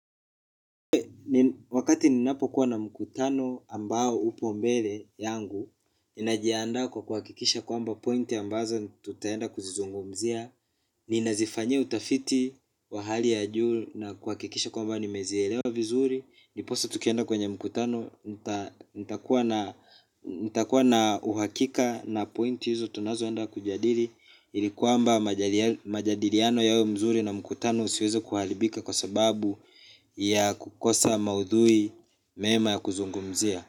Wakati ninapokuwa na mkutano ambao upo mbele yangu ninajiandaa kwa kuhakikisha kwamba pointi ambazo tutaenda kuzizungumzia. Ninazifanyia utafiti wa hali ya juu na kuhakikisha kwamba nimezielewa vizuri. Ndiposa tukienda kwenye mkutano, nitakuwa na uhakika na pointi hizo tunazoenda kujadili. Ili kwamba majadiliano yawe mzuri na mkutano usiweze kuharibika kwa sababu ya kukosa maudhui mema ya kuzungumzia.